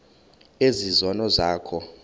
ezi zono zakho